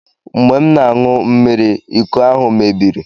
Mgbe m na-aṅụ mmiri, iko ahụ mebiri